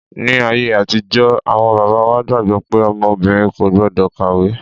Ní ayé àtijọ́ awọn bàbá wa gbàgbọ́ pé ọmọ obìnrin kò gbọ́dọ̀ kàwé.